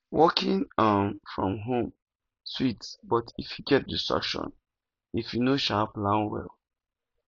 working um from home sweet but e fit get distraction if you no um plan well